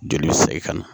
Joli bɛ se ka na